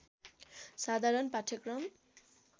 साधारण पाठ्यक्रम